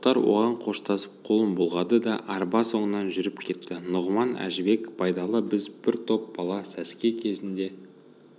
тоқтар оған қоштасып қолын бұлғады да арба соңынан жүріп кетті нұғыман әжібек байдалы біз бір топ бала сәске кезінде